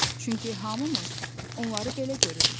Çünki hamımız onları belə görürük.